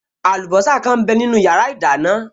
Àlùbọ́sà kan m bẹ nínu yàrá ìdáná